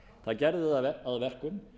það gerð það að verkum